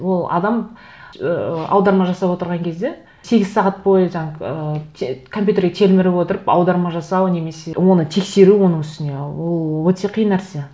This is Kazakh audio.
ол адам ыыы аударма жасап отырған кезде сегіз сағат бойы жаңа ыыы компьютерге телміріп отырып аударма жасау немесе оны тексеру оның үстіне ол өте қиын нәрсе